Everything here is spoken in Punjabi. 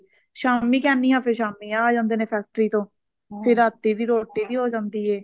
ਸ਼ਾਮੀ ਕਹਿਣੀ ਆ ਫੇਰ ਸ਼ਾਮੀ ਇਹ ਆ ਜਾਂਦੇ ਨੇ factory ਤੋਂ ਫੇਰ ਰਾਤੀ ਦੀ ਰੋਟੀ ਵੀ ਹੋ ਜਾਂਦੀ ਆ